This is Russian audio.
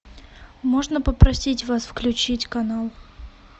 можно попросить вас включить канал